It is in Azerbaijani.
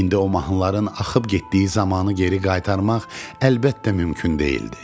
İndi o mahnıların axıb getdiyi zamanı geri qaytarmaq əlbəttə mümkün deyildi.